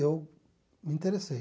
Eu me interessei.